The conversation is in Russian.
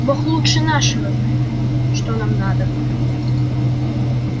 бог лучше нашего знает что нам надобно